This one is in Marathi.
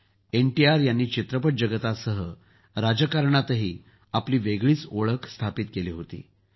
एनटीआर यांनी चित्रपट जगतासह राजकारणातही आपली वेगळीच ओळख स्थापित केली होती